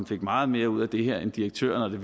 fik meget mere ud af det her end direktøren